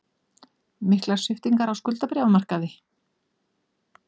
Miklar sviptingar á skuldabréfamarkaði